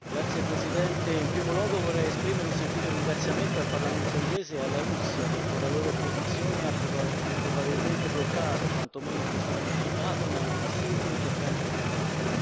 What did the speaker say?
Signor Presidente, in primo luogo vorrei esprimere un sentito ringraziamento al parlamento inglese e alla Russia, che con la loro opposizione hanno probabilmente bloccato, o quanto meno posticipato, un assurdo intervento militare.